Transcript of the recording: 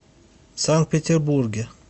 санкт петербурге